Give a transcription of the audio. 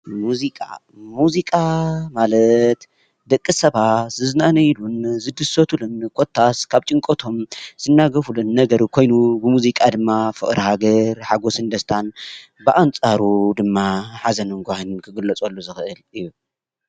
ሙዚቃ:- ሙዚቃ ማለት ደቂ ሰባት ዝዝናነይሉን ዝድሰትሉን ኮታስ ካብ ጭንቀቶም ዝናገፉሉን ነገር ኮይኑ ብሙዚቃ ድማ ፍቅሪ ሃገር ሓጎስን ደስታን ብኣንፃሩ ድማ ሓዘንን ጓሂን ክግለፀሉ ዝኽእል እዩ።